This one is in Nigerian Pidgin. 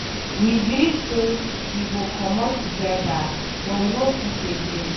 We gree say we go comot together but we no fit again.